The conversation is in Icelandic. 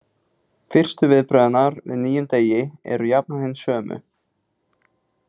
Fyrstu viðbrögð hennar við nýjum degi eru jafnan hin sömu.